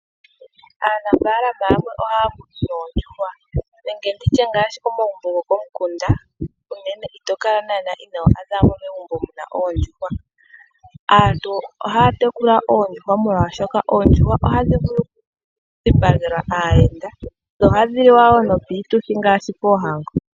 Aanafaalama yamwe oha ya tekula oondjuhwa nenge nditye ngaashi komagumbo gokomikunda unene ito kala naanaa inoo adha megumbo kaamuna oondjuhwa . Aantu oha ya tekula oondjuhwa molwashoka oondjuhwa oha dhi vulu okudhipagelwa aayenda dho oha dhi liwa wo nopiituthi ngaashi poohango.